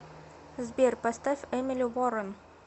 сбер поставь эмили уорен